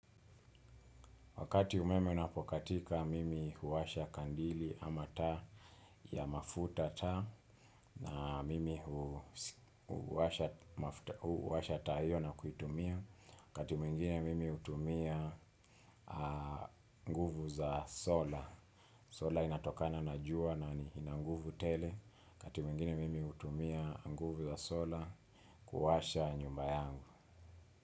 Wakati umeme unapokatika, mimi huwasha kandili ama taa ya mafuta taa na mimi huwasha taa hiyo na kuitumia, wakati mwingine mimi hutumia nguvu za sola. Sola inatokana na jua na ina nguvu tele, wakati mwingine mimi hutumia nguvu za sola kuwasha nyumba yangu.